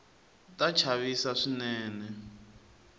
ta chavisa swinene